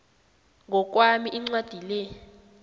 ngokwami incwadi le